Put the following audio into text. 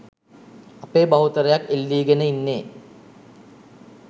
අපේ බහුතරයක් එල්ලීගෙන ඉන්නේ.